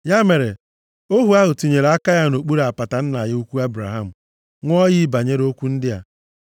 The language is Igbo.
Ya mere, ohu ahụ tinyere aka ya nʼokpuru apata nna ya ukwu Ebraham, ṅụọ iyi banyere okwu ndị a.